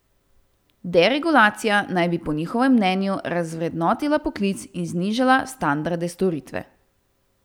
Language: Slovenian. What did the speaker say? Deregulacija naj bi po njihovem mnenju razvrednotila poklic in znižala standarde storitve.